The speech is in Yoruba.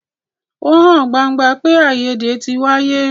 Ó hàn gbangba pé àìyédè tí wáyé.